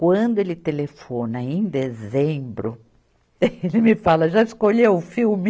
Quando ele telefona, em dezembro, ele me fala, já escolheu o filme?